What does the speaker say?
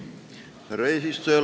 Härra eesistuja!